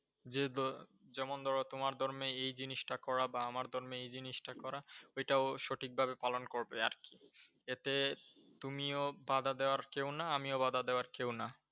যেমন ধরো, তোমার ধর্মে এই জিনিসটা করা বা আমার ধর্মে এই জিনিসটা করা ওইটাও সঠিক ভাবে পালন করবে আর কি। এতে তুমিও বাঁধা দেওয়ার কেউ না আমিও বাধা দেওয়ার কেউ না।